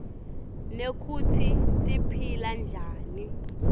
nekutsi tiphila njani